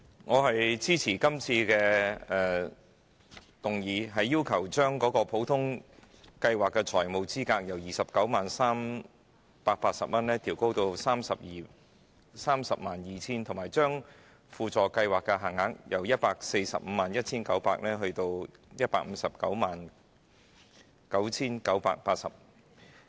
我支持今次的議案，將普通計劃的財務資格由 290,380 元上調至 302,000 元，以及將輔助計劃的限額由 1,451,900 元上調至 1,509,980 元。